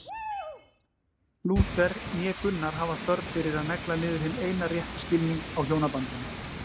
Lúther né Gunnar hafa þörf fyrir að negla niður hinn eina rétta skilning á hjónabandinu.